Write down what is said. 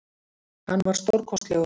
Hann var stórkostlegur